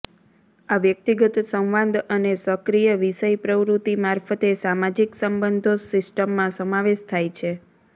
આ વ્યક્તિગત સંવાદ અને સક્રિય વિષય પ્રવૃત્તિ મારફતે સામાજિક સંબંધો સિસ્ટમમાં સમાવેશ થાય છે